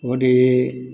O de ye